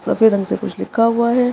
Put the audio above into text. सफ़ेद रंग से कुछ लिखा हुआ है।